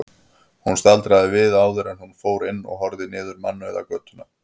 Hún staldraði við áður en hún fór inn og horfði niður mannauða götuna.